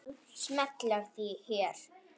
Smella hér